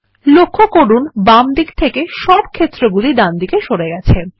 লক্ষ্য করুন বামদিক থেকে সব ক্ষেত্রগুলি ডানদিকে সরে গেছে